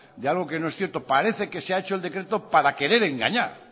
de algo que no es cierto parece que ha hecho el decreto para querer engañar